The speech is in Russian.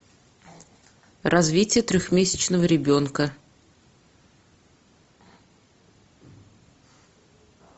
развитие трехмесячного ребенка